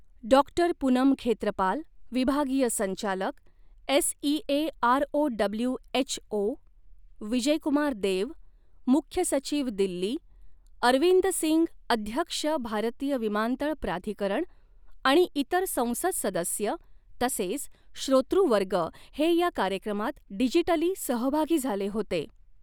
डॉ पूनम खेत्रपाल, विभागीय संचालक, S E A R O W H O, Vijay Kumar Dev, मुख्य सचीव दिल्ली, अरविंद सिंग अध्यक्ष भारतीय़ विमानतळ प्राधिकरण आणि इतर संसद सदस्य तसेच श्रोतृवर्ग हे या कार्यक्रमात डिजीटली सहभागी झाले होते.